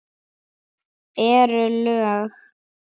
Eru lög.